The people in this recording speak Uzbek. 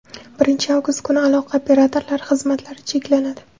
Birinchi avgust kuni aloqa operatorlari xizmatlari cheklanadi.